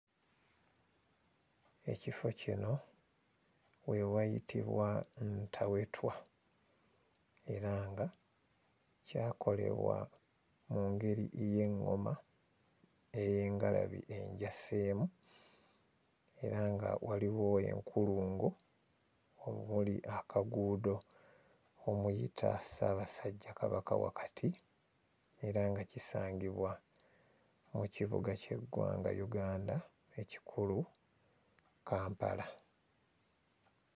Ekifo kino we wayitibwa Ntawetwa era nga kyakolebwa mu ngeri y'eŋŋoma ey'engalabi enjaseemu era nga waliwo enkulungo omuli akaguudo omuyita Ssaabasajja Kabaka wakati era nga kisangibwa mu kibuga ky'eggwanga Uganda ekikulu, Kampala.